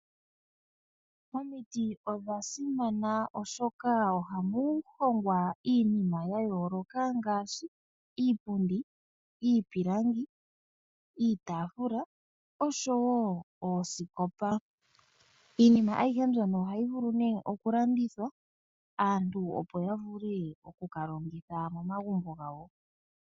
Omiti odha simana oshoka ohamu hongwa iinima yayooloka ngaashi iipundi , iipilangi, iitaafula oshowoo oosikopa. Iinima aihe mbyono ohayi vulu okulandithwa. Aantu opo yavule okukalongitha momagumbo gawo.